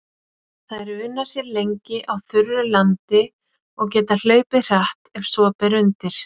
Þær una sér lengi á þurru landi og geta hlaupið hratt ef svo ber undir.